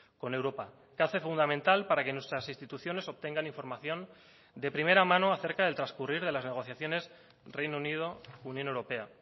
con europa que hace fundamental para que nuestras instituciones obtengan información de primera mano acerca del transcurrir de las negociaciones reino unido unión europea